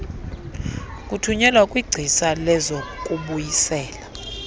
kuthunyelwa kwingcisa lezokubuyisela